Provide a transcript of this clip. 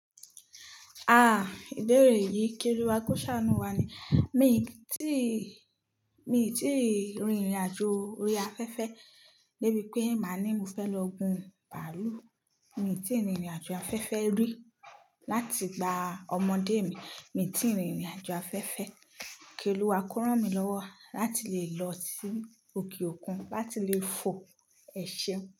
Ah! Ìbéèrè yìí kì olúwa kó sàánú wá ni. Mi ti, mi ti rìn ìrìn àjò orí afẹ́fẹ́ lébì pé màá ní mo fẹ́ lọ gun bàálù. Mi ti rìnrìn àjò afẹ́fẹ́ rì láti ìgbà ọmọdé mi. Mi ti rìn. Ìrìn àjò afẹ́fẹ́. Kí olúwa kó rán mi lọ́wọ́ láti lè lọ sí òkè òkun láti lè fò ẹ ṣeun.